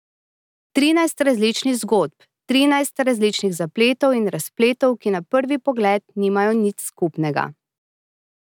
Trinajst različnih zgodb, trinajst različnih zapletov in razpletov, ki na prvi pogled nimajo nič skupnega.